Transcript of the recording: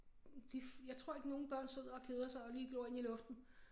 De jeg tror ikke nogen børn sidder og keder sig og lige glor ind i luften